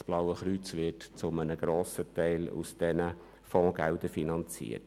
Das Blaue Kreuz wird zu einem grossen Teil aus diesen Fondsgeldern finanziert.